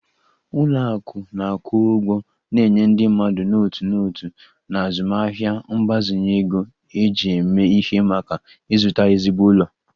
Ụlọ akụ na-akwụ ụgwọ na-enye ndị mmadụ n'otu n'otu na azụmaahịa mgbazinye ego eji eme ihe maka ịzụta ezigbo ụlọ